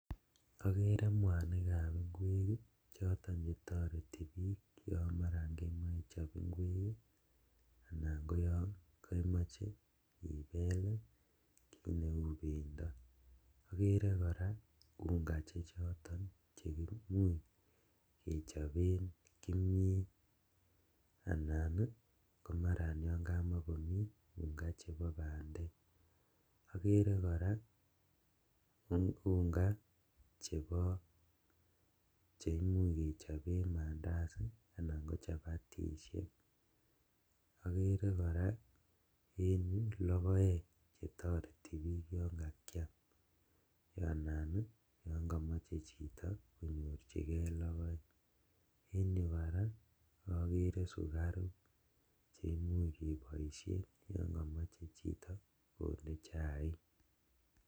Okeree mwanikab inkwek ii choton kotoreti bik yon maran kemoe ichop inkwek ii anan yongemoche inel kit neu bendo, okeree koraa unga chechoton cheimuch kechoben kimiet anan komaran yon kamokomi unga chepo bandek, okeree koraa unga chebo anan cheimuch kechoben mandazi anan kochapatishek ,okere koraa en yu logoek chetoreti bik yon kakiam anan yon komoche chito konyorjigee logoek, en yu koraa okere sukaruk cheimuch keboisien yon komoche chito kondee chaik.